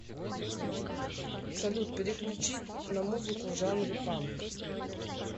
салют переключить на музыку в жанре панк